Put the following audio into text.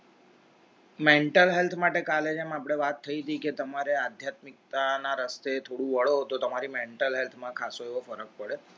mental health માટે college પણ વાત થઈ કે તમારી આધ્યાત્મિકતા ના રસ્તો થોડું વાળો તો તમારી mental health માં ખાસ્સો ફરક પડે